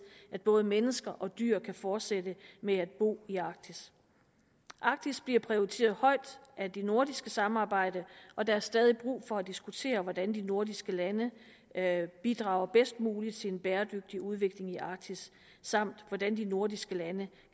at både mennesker og dyr kan fortsætte med at bo i arktis arktis bliver prioriteret højt af det nordiske samarbejde og der er stadig brug for at diskutere hvordan de nordiske lande bidrager bedst muligt til en bæredygtig udvikling i arktis samt hvordan de nordiske lande